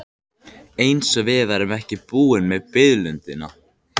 Eins og við værum ekki búin með biðlundina.